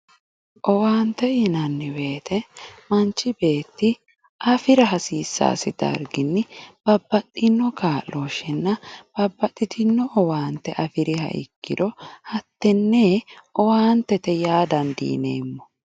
Owante yinanni woyite manchi beti afira hasisassi dariginni babaxino kaloshenna babaxitino owante afiriha ikiro hatene owantete ya dandinemo